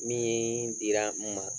Min yeen dira n ma